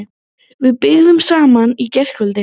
Við byrjuðum saman í gærkvöld.